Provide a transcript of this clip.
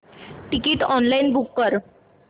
ticket online book कर